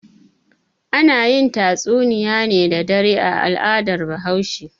Ana yin tatsunniya ne da dare a al'adar Bahaushe.